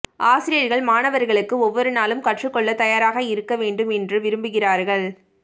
ஆசிரியர்கள் மாணவர்களுக்கு ஒவ்வொரு நாளும் கற்றுக்கொள்ள தயாராக இருக்க வேண்டும் என்று விரும்புகிறார்கள்